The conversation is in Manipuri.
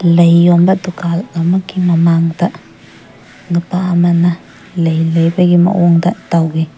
ꯂꯩ ꯌꯣꯟꯕ ꯗꯨꯀꯥꯜ ꯑꯃꯒꯤ ꯃꯃꯥꯡꯗ ꯅꯨꯄꯥ ꯑꯃꯅ ꯂꯩ ꯂꯩꯕꯒꯤ ꯃꯑꯣꯡꯗ ꯇꯧꯏ꯫